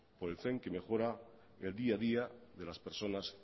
por el tren que mejora el día a día de las personas